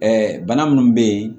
bana minnu bɛ yen